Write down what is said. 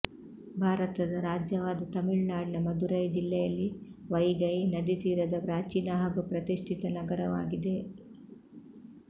ಭಾರತದ ರಾಜ್ಯವಾದ ತಮಿಳುನಾಡಿನ ಮಧುರೈ ಜಿಲ್ಲೆಯಲ್ಲಿ ವೈಗೈ ನದಿತೀರದ ಪ್ರಾಚೀನ ಹಾಗೂ ಪ್ರತಿಷ್ಠಿತ ನಗರವಾಗಿದೆ